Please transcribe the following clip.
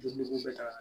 bɛ taa